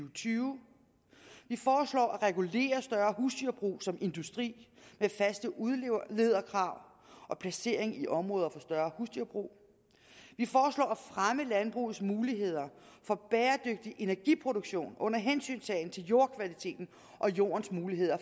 og tyve at regulere større husdyrbrug som industri med faste udlederkrav og placering i områder for større husdyrbrug at fremme landbrugets muligheder for bæredygtig energiproduktion under hensyntagen til jordkvaliteten og jordens mulighed